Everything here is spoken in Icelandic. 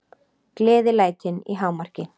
Gleðilætin í hámarki.